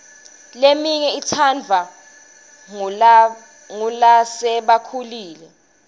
leminye itsandvwa ngulasebakhulile